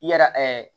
I yɛrɛ